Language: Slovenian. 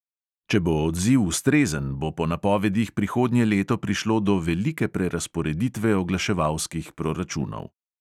Če bo odziv ustrezen, bo po napovedih prihodnje leto prišlo do velike prerazporeditve oglaševalskih proračunov.